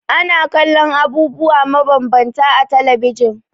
Ana kallon abubuwa mabambanta a talabijin.